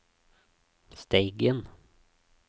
Steigen